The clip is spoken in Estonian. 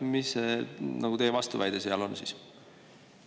Mis see teie vastuväide seal on siis?